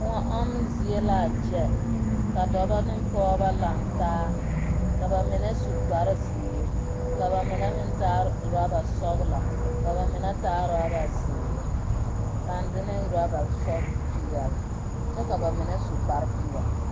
kõɔ ɔmmo zie la a kyɛ ka dɔbɔ ne pɔgeba lantaa ka ba mine su kpare zeere, ka ba mine meŋ taa oraba sɔgelɔ, ka ba mine meŋ taa oraba zeere, pãã de ne oraba sɔg.. peɛle. kyɛ ka bamine su kare peɛle.